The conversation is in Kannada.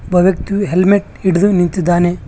ಒಬ್ಬ ವ್ಯಕ್ತಿಯು ಹೆಲ್ಮೆಟ್ ಹಿಡಿದು ನಿಂತಿದ್ದಾನೆ.